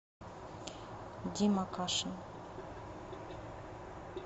дима кашин